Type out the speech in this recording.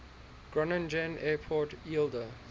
groningen airport eelde